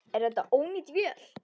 Er þetta ónýt vél?